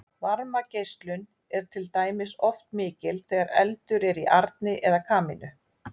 varmageislun er til dæmis oft mikil þegar eldur er í arni eða kamínu